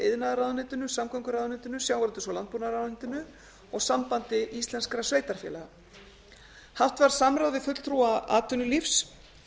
iðnaðarráðuneytinu samgönguráðuneytinu sjávarútvegs og landbúnaðarráðuneytinu og sambandi íslenskra sveitarfélaga haft var samráð við fulltrúa atvinnulífs